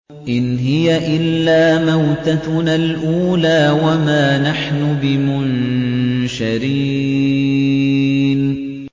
إِنْ هِيَ إِلَّا مَوْتَتُنَا الْأُولَىٰ وَمَا نَحْنُ بِمُنشَرِينَ